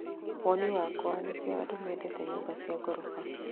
Woni wakwa, nĩkĩo andû mendete nyũmba cia ngorofa